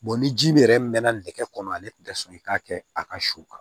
ni ji min yɛrɛ mɛnna nɛgɛ kɔnɔ ale tun tɛ sɔn i k'a kɛ a ka su kan